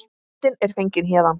Myndin er fengin héðan.